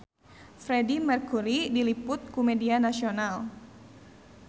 Freedie Mercury diliput ku media nasional